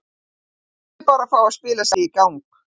Hann þurfti bara að fá að spila sig í gang.